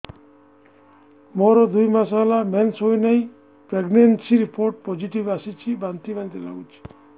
ମୋର ଦୁଇ ମାସ ହେଲା ମେନ୍ସେସ ହୋଇନାହିଁ ପ୍ରେଗନେନସି ରିପୋର୍ଟ ପୋସିଟିଭ ଆସିଛି ବାନ୍ତି ବାନ୍ତି ଲଗୁଛି